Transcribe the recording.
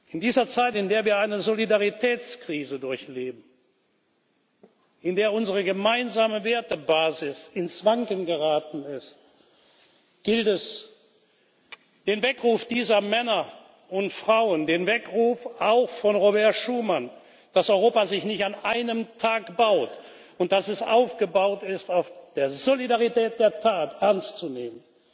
In dieser Zeit, in der wir eine Solidaritätskrise durchleben, in der unsere gemeinsame Wertebasis ins Wanken geraten ist, gilt es, den Weckruf dieser Männer und Frauen, den Weckruf auch von Robert Schuman, dass Europa sich nicht an einem Tag baut und dass es aufgebaut ist auf der Solidarität der Tat, ernst zu nehmen.